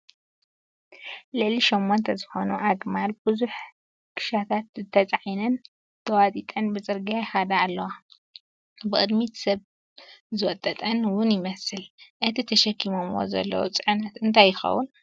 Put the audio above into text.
ልዕሊ 8+ ዝኾኑ ኣግማል ብዙሕ ኽሻታት ተፃዒነን ተዋጢጠን ብፅርግያ ይኸዳ ኣለዋ፡፡ ብቕድሚት ሰብ ዝወጠጠን ውን ይመስል፡፡ እቲ ተሸኪሞምዎ ዘለው ፅዕነት እንታይ ይኸውን?